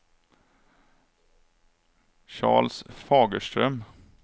Charles Fagerström